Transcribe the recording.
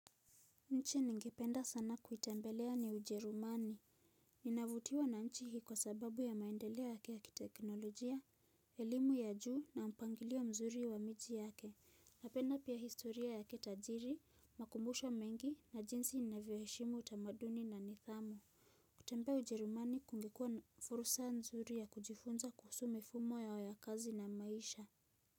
Nchi ningependa sana kuitembelea ni ujerumani, ninavutiwa na nchi hii kwa sababu ya maendelea yake ya kikeknolojia, elimu ya juu na mpangilio mzuri wa miji yake, napenda pia historia yake tajiri, makumbusho mengi na jinsi na inavyoheshimu utamaduni na nidhamu. Kutembea ujerumani kungekuwa furusa nzuri ya kujifunza kuhusu mifumo yao ya kazi na maisha.